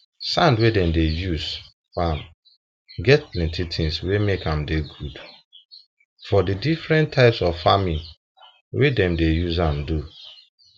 sand wey dem use farm get plenty things wey make am dey good for the different types of farming wey dem dey use am do